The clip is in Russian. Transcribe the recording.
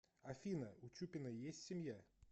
афина у чупиной есть семья